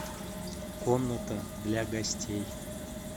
комната для гостей